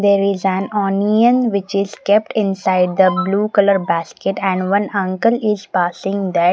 there is an onion which is kept inside the blue colour basket and one uncle is passing that --